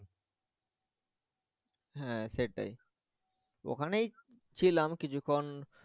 হ্যা সেটাই ওখানেই ছিলাম কিছুক্ষণ।